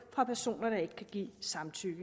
fra personer der ikke kan give samtykke